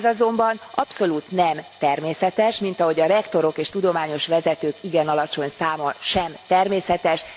Ez azonban abszolút nem természetes, mint ahogy a rektorok és tudományos vezetők igen alacsony száma sem természetes.